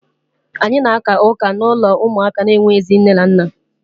Anyị na-aka ụka n'ụlọ ụmụaka na-enweghịzị nne na nna.